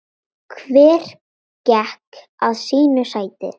Hver gekk að sínu sæti.